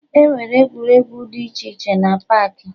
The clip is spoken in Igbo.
Enwere egwuregwu dị iche iche na paakị